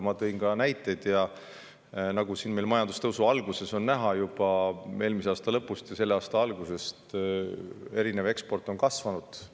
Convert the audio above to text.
Ma tõin ka näiteid sellest, et majandustõusu algust oli näha juba eelmise aasta lõpus ja selle aasta alguses on eksport kasvanud.